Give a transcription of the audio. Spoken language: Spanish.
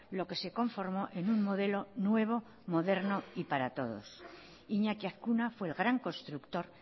lo que se conformó en un modelo nuevo moderno y para todos iñaki azkuna fue el gran constructor